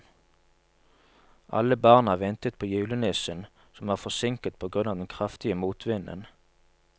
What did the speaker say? Alle barna ventet på julenissen, som var forsinket på grunn av den kraftige motvinden.